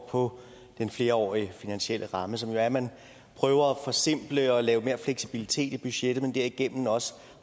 på den flerårige finansielle ramme som jo er at man prøver at forsimple og lave mere fleksibilitet i budgettet men derigennem også